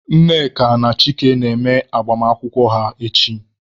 Nneka na Chike na-eme agbamakwụkwọ ha echi.